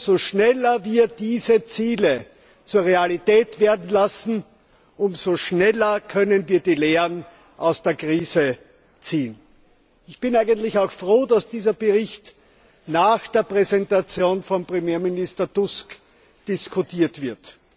Je schneller wir diese Ziele zur Realität werden lassen, desto schneller können wir die Lehren aus der Krise ziehen. Ich bin auch froh, dass dieser Bericht nach der Präsentation von Premierminister Tusk diskutiert wird.